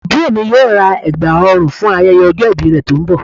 Àbúrò mi yóò ra ẹ̀gbà ọrùn fún ayẹyẹ ọjọ́ ìbí rẹ̀ tó ń bọ̀